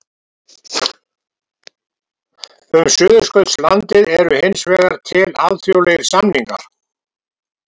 Um Suðurskautslandið eru hins vegar til alþjóðlegir samningar.